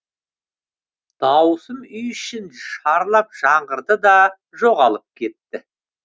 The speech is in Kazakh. дауысым үй ішін шарлап жаңғырды да жоғалып кетті